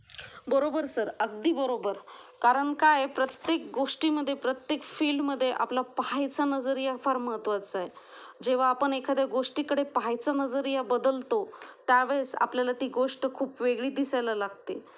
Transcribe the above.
बरोबर सर, अगदी बरोबर कारण काय प्रत्येक गोष्टी मध्ये प्रत्येक फिल्ड मध्ये आपला पाहायचा नजरिया फार महत्वाचा आहे, जेव्हा आपण एखाद्या गोष्टीकडे पाहायचं नजरिया बदलतो त्या वेळेस आपल्याला ती गोष्ट खूप वेगळी दिसायला लागते.